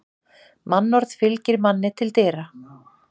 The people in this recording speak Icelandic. Mannorð fylgir manni til dyra.